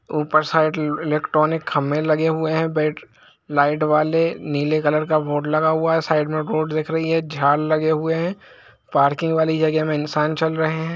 ऊपर side electronic खंभे दिख रहे हैं बेट लाईट वाले नीले कलर के लाइट वाले नीले कॉलर का बोर्ड लगा हुआ हैसाइड में रोड दिख रही हैझाड़ लगे हुए हैं पार्किंग वाली जगह में इंसान चल रहै है।